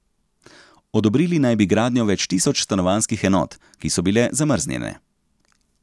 Odobrili naj bi gradnjo več tisoč stanovanjskih enot, ki so bile zamrznjene.